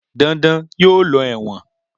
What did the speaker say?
Dandan yóò lọ ẹ̀wọ̀n.